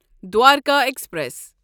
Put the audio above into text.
Dwarka express